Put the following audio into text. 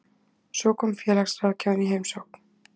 Svo kom félagsráðgjafinn í heimsókn.